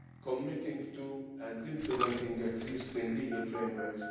committing to and implementing the existing legal frameworks.